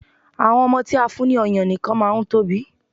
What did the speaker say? Àwọn ọmọ tí a fún ní ọyàn nìkan máa ń tóbi.